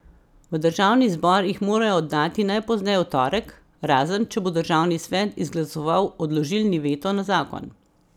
V državni zbor jih morajo oddati najpozneje v torek, razen, če bo državni svet izglasoval odložilni veto na zakon.